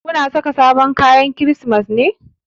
Ku na sa sabon kayan Kirsimeti ne?